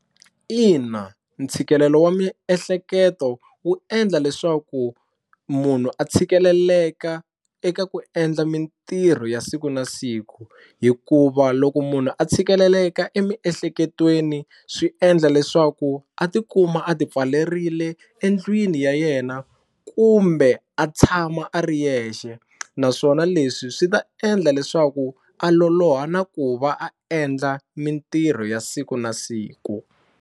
Ina ntshikelelo wa miehleketo wu endla leswaku munhu a tshikeleleka eka ku endla mintirho ya siku na siku hikuva loko munhu a tshikeleleka emiehleketweni swi endla leswaku a tikuma a ti pfalerile endlwini ya yena kumbe a tshama a ri yexe naswona leswi swi ta endla leswaku a loloha na ku va a endla mintirho ya siku na siku.